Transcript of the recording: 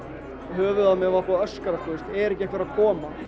höfuðið á mér var búið að öskra sko er ekki einhver að koma